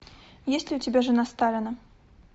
есть ли у тебя жена сталина